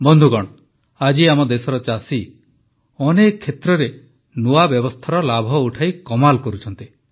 ବନ୍ଧୁଗଣ ଆଜି ଆମ ଦେଶର ଚାଷୀ ଅନେକ କ୍ଷେତ୍ରରେ ନୂଆ ବ୍ୟବସ୍ଥାର ଲାଭ ଉଠାଇ କମାଲ୍ କରୁଛନ୍ତି